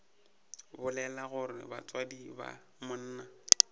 bolela gore batswadi ba monna